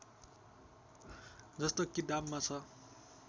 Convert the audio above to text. जस्तो किताबमा छ